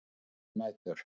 Svefnleysi um nætur.